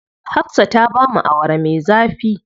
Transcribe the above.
Hafsa ta bamu Awara me zafi.